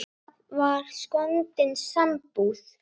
Það var skondin sambúð.